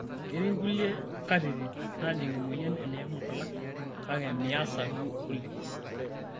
Ketii kulie katitin naajing' emoyian eneimu nkulak kake measa duo oleng'.